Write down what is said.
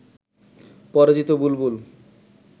পরাজিত বুলবুল